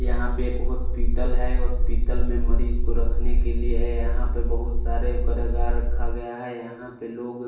यहाँ पे एक हॉस्पितल है हॉस्पितल में मरीज़ को रखने के लिए यहाँ पे बहुत सारे करागार रखा गया है यहाँ पे लोग--